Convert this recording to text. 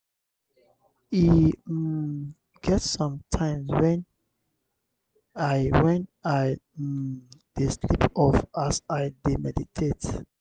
e um get some times wen i wen i um dey sleep off as i dey meditate.